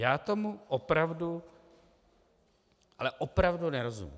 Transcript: Já tomu opravdu, ale opravdu nerozumím.